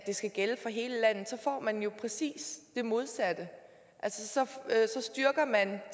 skal gælde for hele landet får man præcis det modsatte så styrker man